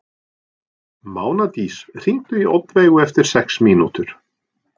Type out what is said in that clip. Mánadís, hringdu í Oddveigu eftir sex mínútur.